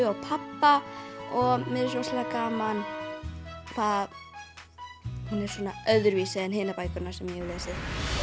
og pabba og mér finnst rosalega gaman hvað hún er svona öðruvísi en hinar bækurnar sem ég hef lesið